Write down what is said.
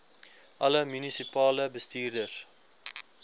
alle munisipale bestuurders